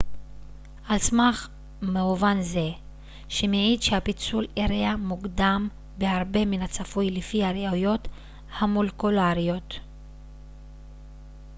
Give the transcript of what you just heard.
על סמך מאובן זה שמעיד שהפיצול אירע מוקדם בהרבה מן הצפוי לפי הראיות המולקולריות